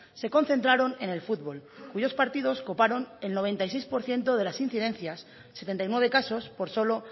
se concentraron en el fútbol cuyos partidos coparon el noventa y seis por ciento de las incidencias setenta y nueve casos por solo